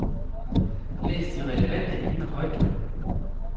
Læs de relevante emner højt.